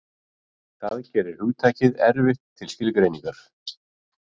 Það gerir hugtakið erfitt til skilgreiningar.